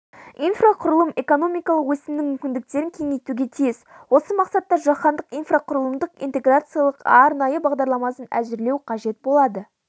инфрақұрылым экономикалық өсімнің мүмкіндіктерін кеңейтуге тиіс осы мақсатта жаһандық инфрақұрылымдық интеграция арнайы бағдарламасын әзірлеу қажет болады